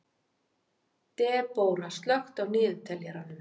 Debóra, slökktu á niðurteljaranum.